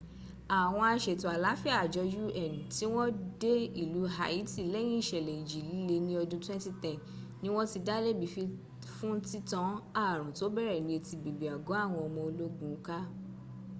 àwọn asètò àlááfíà àjọ un tí wọ́n dé ìlú haiti lẹ́yìn ìsẹ̀lẹ̀ ìjì líle ní ọdún 2010 ni wọ́n ti dá lẹ́bi fún títan ààrùn tó bẹ̀rẹ̀ ní etí bèbè àgọ́ àwọn ọmọ ológun ká